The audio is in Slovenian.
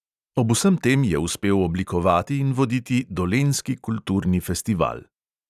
Ob vsem tem je uspel oblikovati in voditi dolenjski kulturni festival.